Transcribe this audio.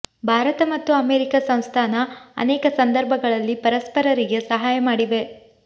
ಭಾರತ ಮತ್ತು ಅಮೆರಿಕ ಸಂಸ್ಥಾನ ಅನೇಕ ಸಂದರ್ಭಗಳಲ್ಲಿ ಪರಸ್ಪರರಿಗೆ ಸಹಾಯ ಮಾಡಿವೆ